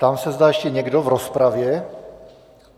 Ptám se, zda ještě někdo v rozpravě.